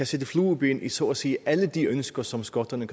sætte flueben ved så at sige alle de ønsker som skotterne